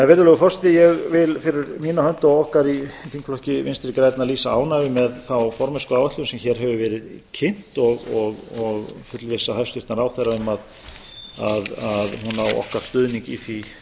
virðulegur forseti ég vil fyrir mína hönd og okkar í þingflokki vinstri grænna lýsa ánægju með þá formennskuáætlun sem hér hefur verið kynnt og fullvissa hæstvirtan ráðherra að hún á okkar stuðning í því